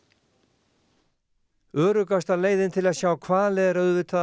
öruggasta leiðin til að sjá hvali er auðvitað að fara í siglingu með